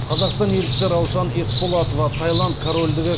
қазақстан елшісі раушан есболатова таиланд корольдігі